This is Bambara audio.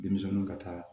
Denmisɛnninw ka taa